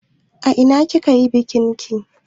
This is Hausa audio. A ina kika yi bikin ki?